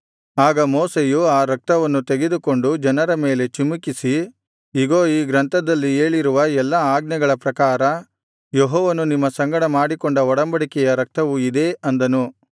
ಆಗ ಮೋಶೆಯು ಆ ರಕ್ತವನ್ನು ತೆಗೆದುಕೊಂಡು ಜನರ ಮೇಲೆ ಚಿಮುಕಿಸಿ ಇಗೋ ಈ ಗ್ರಂಥದಲ್ಲಿ ಹೇಳಿರುವ ಎಲ್ಲಾ ಆಜ್ಞೆಗಳ ಪ್ರಕಾರ ಯೆಹೋವನು ನಿಮ್ಮ ಸಂಗಡ ಮಾಡಿಕೊಂಡ ಒಡಂಬಡಿಕೆಯ ರಕ್ತವು ಇದೇ ಅಂದನು